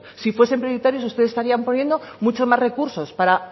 si fuesen prioritarios ustedes estarían poniendo muchos más recursos para